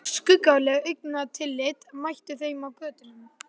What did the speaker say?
Skuggaleg augnatillit mættu þeim á götunum.